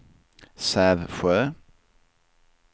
Sävsjö